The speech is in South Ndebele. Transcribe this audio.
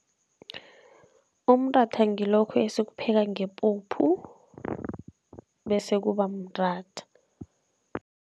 Umratha ngilokho esikupheka ngepuphu bese kuba mratha.